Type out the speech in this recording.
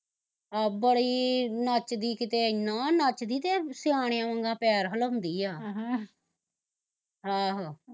ਐ ਬੜੀ ਨੱਚਦੀ ਕਿਤੇ ਏਨਾਂ ਨੱਚਦੀ ਤੇ ਕਿਤੇ ਸਿਆਣਿਆ ਵੰਗਣ ਪੈਰ ਹਿਲਾਉਂਦੀ ਆ ਅਹ ਆਹੋ